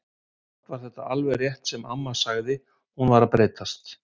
Samt var það alveg rétt sem amma sagði, hún var að breytast.